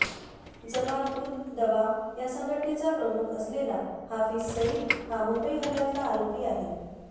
जमात उद् दवा या संघटनेचा प्रमुख असलेला हाफिज सईद हा मुंबई हल्ल्यातला आरोपी आहे